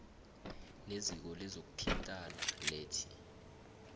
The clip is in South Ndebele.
neziko lezokuthintana ledti